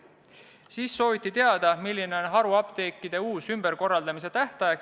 Peale selle sooviti teada, milline on uus haruapteekide ümberkorraldamise tähtaeg.